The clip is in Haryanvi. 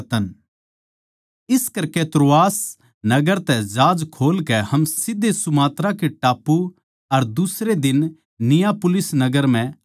इस करकै त्रोआस नगर तै जहाज खोल कै हम सीध्धे सुमात्राके टापू अर दुसरे दिन नियापुलिस नगर म्ह आये